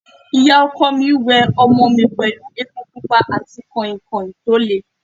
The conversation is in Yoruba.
Ìyá ọkọ mi we ọmọ mi pẹ̀lú epo pupa àti kọ̀ìnkọ̀ìn tó le.